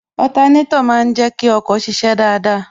Otanétò má ń jẹ kí ọkọ̀ ṣiṣẹ́ dáadáa